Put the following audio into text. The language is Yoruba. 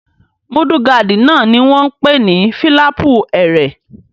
Múdúgáàdì náà ni wọ́n n pè ní fílàpù ẹrẹ̀